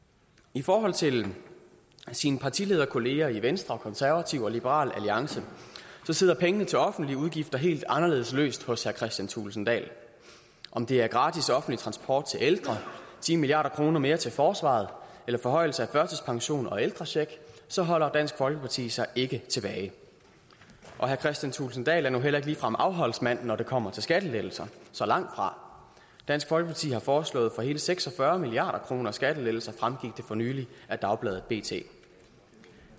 i forhold til sine partilederkolleger i venstre og konservative og liberal alliance sidder pengene til offentlige udgifter helt anderledes løst hos herre kristian thulesen dahl om det er gratis offentlig transport til ældre ti milliard kroner mere til forsvaret eller forhøjelse af førtidspensionen og ældrecheck så holder dansk folkeparti sig ikke tilbage og herre kristian thulesen dahl er nu heller ikke ligefrem afholdsmand når det kommer til skattelettelser så langt fra dansk folkeparti har foreslået for hele seks og fyrre milliard kroner i skattelettelser fremgik det for nylig af dagbladet bt